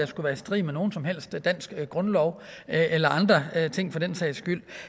skulle være i strid med nogen som helst dansk grundlov eller andre ting for den sags skyld